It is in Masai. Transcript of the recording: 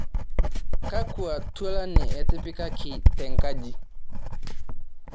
kakua tualan etipikaki tenkaji